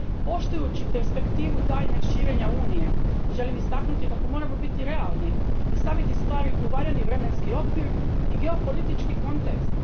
Poštujući perspektivu daljnjeg širenja Unije, želim istaknuti kako moramo biti realni i staviti stvari u valjani vremenski okvir i geopolitički kontekst.